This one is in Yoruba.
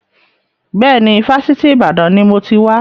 Bẹ́ẹ̀ni, Fásitì Ìbàdàn ni mo ti wà.